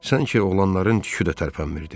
Sanki oğlanların tükü də tərpənmirdi.